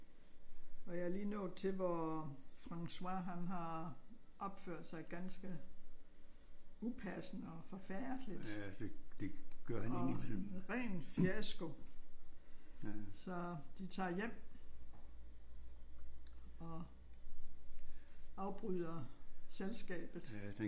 Og jeg er lige nået til hvor Francois han har opført sig ganske upassende og forfærdeligt og ren fiasko. Så de tager hjem og afbryder selskabet